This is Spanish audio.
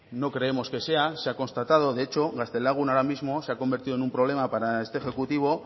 no creemos que sea se ha constatado de hecho gaztelagun ahora mismo se ha convertido en un problema para este ejecutivo